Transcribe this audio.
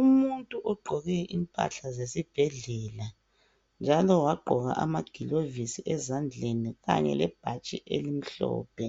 Umuntu ogqqoke impahla zesibhedlela njalo wagqoka amagilovisi ezandleni Kanye lebhatshi elimhlophe